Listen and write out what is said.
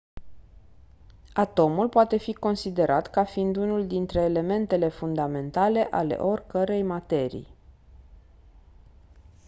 atomul poate fi considerat ca fiind unul dintre elementele fundamentale ale oricărei materii